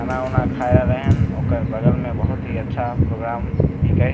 खाना-उना खाई रहले हन ओकर बगल में बहुत ही अच्छा प्रोग्राम हिके --